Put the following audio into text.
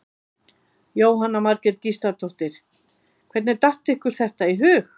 Jóhanna Margrét Gísladóttir: Hvernig datt ykkur þetta í hug?